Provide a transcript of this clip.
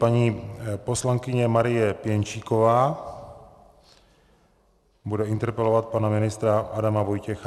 Paní poslankyně Marie Pěnčíková bude interpelovat pana ministra Adama Vojtěcha.